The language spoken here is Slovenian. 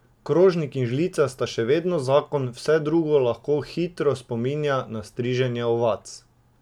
Krožnik in žlica sta še vedno zakon, vse drugo lahko hitro spominja na striženje ovac.